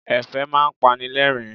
Ẹ̀fẹ̀ máa ń pani lẹ́rìn-ín.